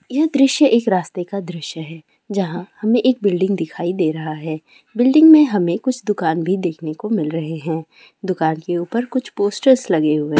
दृश्य एक रास्ते का दृश्य है जहां हमें एक बिल्डिंग दिखाई दे रहा है बिल्डिंग में हमें कुछ दुकान भी देखने को मिल रहे हैं दुकान के ऊपर कुछ पोस्टर्स लगे हुए हैं।